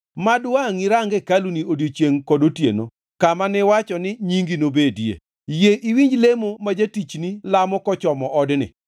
Mad wangʼi rang hekaluni odiechiengʼ kod otieno, kama niwacho ni Nyingi nobedie. Yie iwinji lemo ma jatichni lamo kochomo odni.